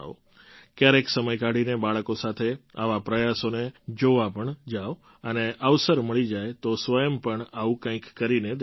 ક્યારેક સમય કાઢીને બાળકો સાથે આવા પ્રયાસોને જોવા પણ જાવ અને અવસર મળી જાય તો સ્વંય પણ આવું કંઈક કરીને દેખાડો